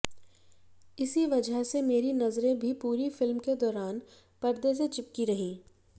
इसी वजह से मेरी नजरें भी पूरी फिल्म के दौरान पर्दे से चिपकी रहीं